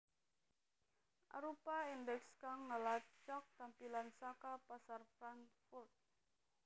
arupa indeks kang ngelacak tampilan saka pasar Frankfurt